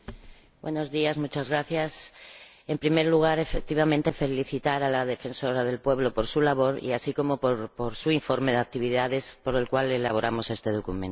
Señor Presidente, en primer lugar, efectivamente, felicitar a la Defensora del Pueblo por su labor, así como por su informe de actividades, por el cual elaboramos este documento.